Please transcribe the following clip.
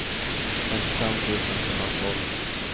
femtiofem tusen sjuhundratolv